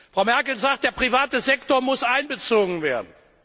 Frau Merkel sagt, der private Sektor muss einbezogen werden.